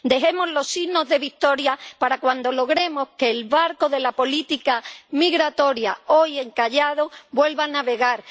Dejemos los signos de victoria para cuando logremos que el barco de la política migratoria, hoy encallado, vuelva a navegar.